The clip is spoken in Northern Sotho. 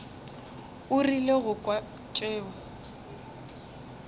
o rile go kwa tšeo